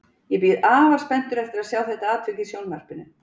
Ég bíð afar spenntur eftir að sjá þetta atvik í sjónvarpinu